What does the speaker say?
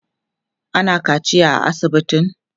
ana kaciya a asibitin?